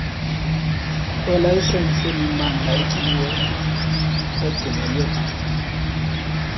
kwelayisensi yemimandla egcinelwe